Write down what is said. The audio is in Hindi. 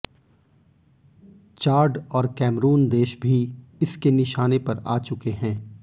चाड और कैमरुन देश भी इसके निशाने पर आ चुके है